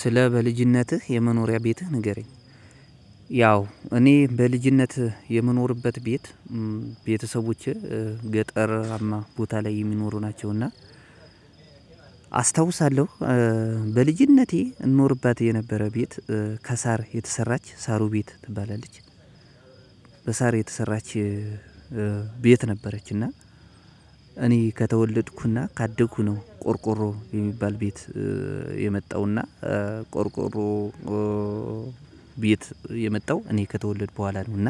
ስለ በልጅነትህ የመኖሪያ ቤትህ ንገረኝ? ያው እኔ በልጅነት የመኖርበት ቤት ቤተሰቦቼ ገጠርማ ቦታ ላይ የሚኖሩ ናቸው። እና አስታውሳለሁ በልጅነቴ እንኖርባት የነበረ ቤት። ከሳር የተሰራች ሳሩ ቤት ትባላለች። በሳር የተሰራች ቤት ነበረች። እና እኔ ከተወለድኩና ካደግኩ ነው ቆርቆሮ የሚባል ቤት። የመጣውና ቆርቆሮ ቤት የመጣው እኔ ከተወለድኩ በኋላ ነው። እና